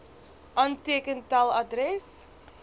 aanteken tel adres